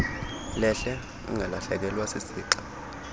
lehle ungalahlekelwa sisixa